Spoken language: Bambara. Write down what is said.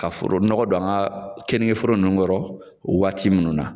Ka foro nɔgɔ don an ka keningeforo ninnu kɔrɔ waati minnu na